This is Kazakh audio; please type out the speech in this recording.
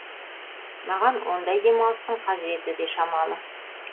маған ондай демалыстың қажеті де шамалы